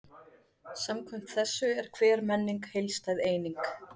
Samkvæmt þessu er hver menning heildstæð eining.